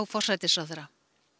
forsætisráðherra